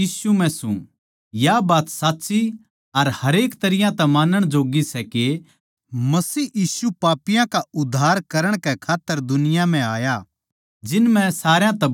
या बात साच्ची अर हरेक तरियां तै मानण जोग्गी सै के मसीह यीशु पापियाँ का उद्धार करण कै खात्तर जगत म्ह आया जिन म्ह सारया तै बड्ड़ा पापी मै सूं